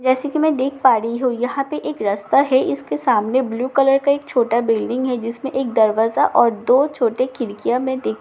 जैसे कि मैं देख पा रही हूँ यहां पे एक रस्ता है इसके सामने ब्लु कलर का एक छोटा बिल्डिंग है जिसमे एक दरवाजा और दो छोटे खिड़कियां मैं देख पा रही हूँ।